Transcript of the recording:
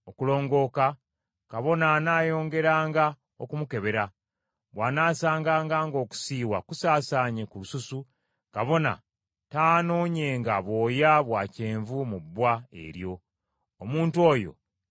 kabona anaayongeranga okumukebera, bw’anaasanganga ng’okusiiwa kusaasaanye ku lususu, kabona taanoonyenga bwoya bwa kyenvu mu bbwa eryo; omuntu oyo si mulongoofu.